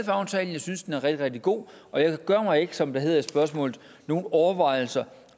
aftalen jeg synes den er rigtig rigtig god og jeg gør mig ikke som det hedder i spørgsmålet nogle overvejelser